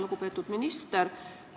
Lugupeetud minister!